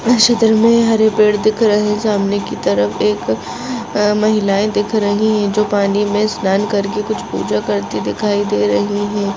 इस चित्र में हरे पेड़ दिख रहे सामने की तरफ एक महिलाए दिख रही है जो पानी में स्नान करके कुछ पूजा करते दिखाई दे रही है।